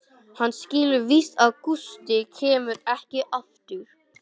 Hann skilur víst að Gústi kemur ekki aftur.